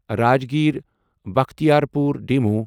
Rajgir Bakhtiyarpur demo